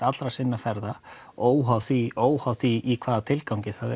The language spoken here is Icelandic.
allra sinna ferða óháð því óháð því í hvaða tilgangi það